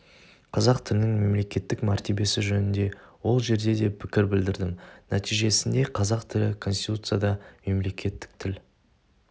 қазақ тілінің мемлекеттік мәртебесі жөнінде ол жерде де пікір білдірдім нәтижесінде қазақ тілі коституцияда мемлекеттік тіл